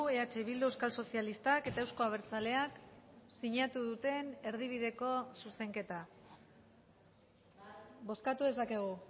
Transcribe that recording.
eh bildu euskal sozialistak eta euzko abertzaleak sinatu duten erdibideko zuzenketa bozkatu dezakegu